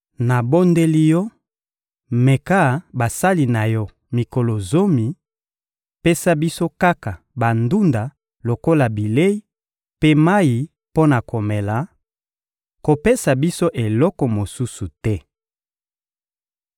«Nabondeli yo, meka basali na yo mikolo zomi: pesa biso kaka bandunda lokola bilei mpe mayi mpo na komela; kopesa biso eloko mosusu te!